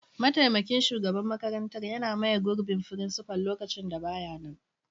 mataimakin shugaban makarantar yana maye gurbin frincifal lokacin da ba ya nan.